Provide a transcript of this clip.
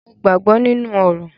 Mo gbàgbọ́ nínú orò.